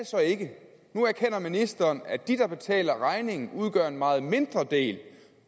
så ikke nu erkender ministeren at de der betaler regningen udgør en meget mindre del